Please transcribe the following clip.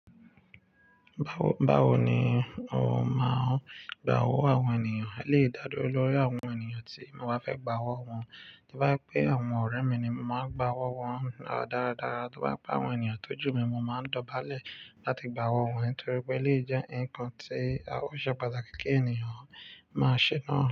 Báwo ni ó máa ń gba owó àwọn ènìyàn? Ó lè dálé lórí àwọn ènìyàn tí mo bá fẹ́ gba owó wọn. To bá je pẹ́ àwọn ọ̀rẹ́ mi ni, mo máa gba owó wọn dáradára. Tí ó bá je pẹ́ àwọn ènìyàn tó jù mí, mo máa dọ̀bálẹ̀ láti gba owó wọn torí pé eléyìí jẹ́ nǹkan tí ó ṣe pàtàkì kí ènìyàn máa ṣe náà.